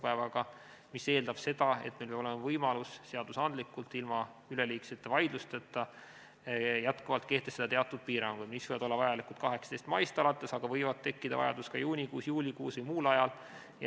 See eeldab seda, et meil peab olema võimalus seaduslikult ilma üleliigsete vaidlusteta jätkuvalt kehtestada teatud piiranguid, mis võivad olla vajalikud 18. maist alates, aga võib tekkida vajadus ka juunikuus, juulikuus või muul ajal.